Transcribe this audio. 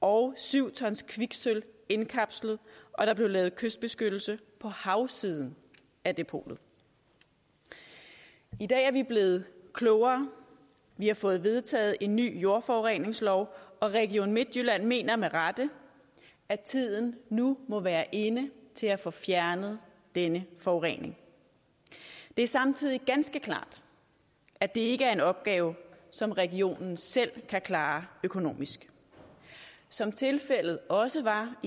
og syv t kviksølv indkapslet og der blev lavet kystbeskyttelse på havsiden af depotet i dag er vi blevet klogere vi har fået vedtaget en ny jordforureningslov og region midtjylland mener med rette at tiden nu må være inde til at få fjernet denne forurening det er samtidig ganske klart at det ikke er en opgave som regionen selv kan klare økonomisk som tilfældet også var i